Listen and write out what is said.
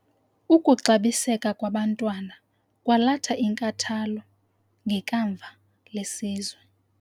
Ukuxabiseka kwabantwana kwalatha inkathalo ngekamva lesizwe.